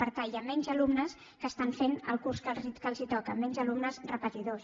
per tant hi ha més alumnes que estan fent el curs que els toca menys alumnes repetidors